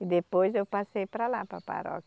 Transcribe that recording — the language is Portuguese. E depois eu passei para lá, para a paróquia.